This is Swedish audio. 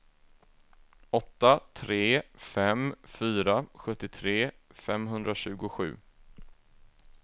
åtta tre fem fyra sjuttiotre femhundratjugosju